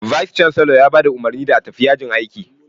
"Vice chancellor" ya ba da umarni da a tafi yajin aiki